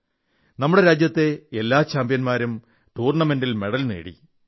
് നമ്മുടെ രാജ്യത്തെ ഈ എല്ലാ ചാംപ്യൻമാരൂം ടൂർണമെന്റിൽ മെഡൽ നേടി